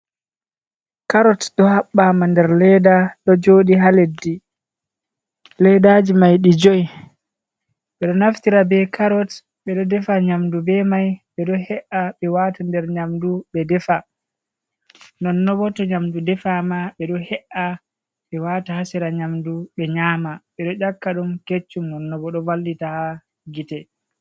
Karot ɗo habbama nder ledda ɗo joɗi ha leddi leɗɗaji mai ɗi joy, ɓedo naftira be karot ɓeɗo defa nyamdu be mai, ɓe ɗo he’a ɓe wata nder nyamdu ɓe defa non nobo, to nyamdu defama bedo he’a be wata ha sera nyamdu ɓe nyama ɓe do ƴakka ɗum keccum nobo ɗo vallita ha gite.